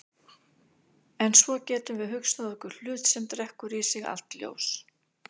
En svo getum við hugsað okkur hlut sem drekkur í sig allt ljós.